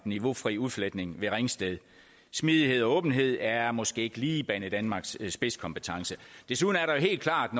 niveaufri udfletning ved ringsted smidighed og åbenhed er måske ikke lige banedanmarks spidskompetence desuden er der jo helt klart